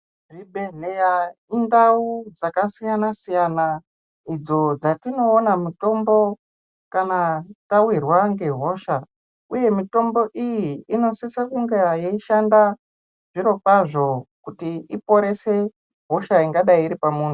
Zvibhehleya indawu dzakasiyana siyana idzo dzatinoona mitombo ,kana taawirwa ngehosha uye mitombo iyi inosise kunge yeishanda zviro kwazvo ,kuti iponese hosha ingadai iri pamuntu.